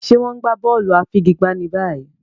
Ṣe wón n gbà bóòlù afigigba ní báyìí?